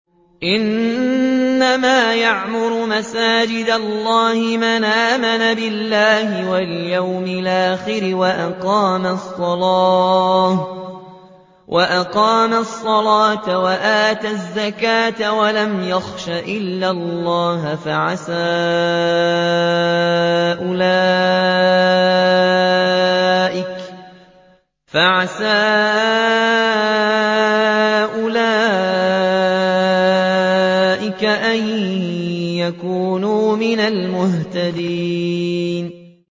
إِنَّمَا يَعْمُرُ مَسَاجِدَ اللَّهِ مَنْ آمَنَ بِاللَّهِ وَالْيَوْمِ الْآخِرِ وَأَقَامَ الصَّلَاةَ وَآتَى الزَّكَاةَ وَلَمْ يَخْشَ إِلَّا اللَّهَ ۖ فَعَسَىٰ أُولَٰئِكَ أَن يَكُونُوا مِنَ الْمُهْتَدِينَ